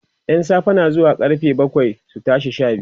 ƴan safe na zuwa karfe bakwai su tashi Sha biyu